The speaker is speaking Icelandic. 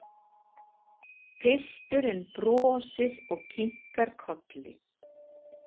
Pilturinn brosir og kinkar kolli.